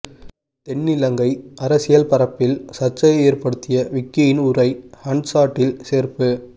தென்னிலங்கை அரசியல் பரப்பில் சர்ச்சையை ஏற்படுத்திய விக்கியின் உரை ஹன்சாட்டில் சேர்ப்பு